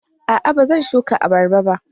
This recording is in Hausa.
A'a, ba zan shuka abarba ba